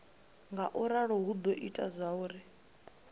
ngauralo hu do ita zwauri